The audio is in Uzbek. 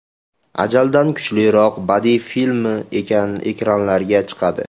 Ajaldan kuchliroq” badiiy filmi ekranlarga chiqadi.